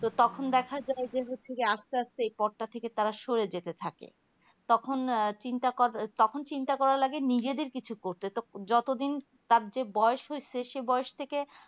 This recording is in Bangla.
তো তখন দেখা যাই যে আস্তে আস্তে এই পদটা থেকে তারা সরে যেতে থাকে তখন চিন্তা তখন চিন্তা করা লাগে নিজেদের কিছু করতে তো যত দিন তার যে বয়স হয়েছে সে বয়স থেকে